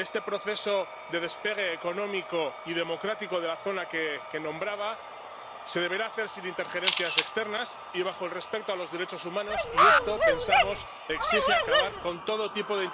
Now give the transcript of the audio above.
Este proceso de despegue económico y democrático de la zona que nombraba se deberá hacer sin injerencias externas y respetando los derechos humanos y esto ⸻pensamos⸻ exige acabar con todo tipo de intervencionismo, estadounidense pero también europeo.